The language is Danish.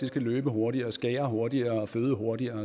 skal løbe hurtigere skære hurtigere føde hurtigere